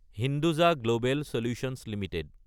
Hinduja Global Solutions Ltd